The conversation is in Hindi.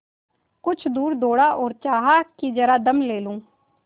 कुछ दूर दौड़ा और चाहा कि जरा दम ले लूँ